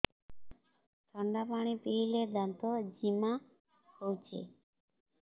ଥଣ୍ଡା ପାଣି ପିଇଲେ ଦାନ୍ତ ଜିମା ହଉଚି